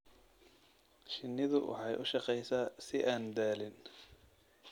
Shinnidu waxay u shaqeysaa si aan daalin.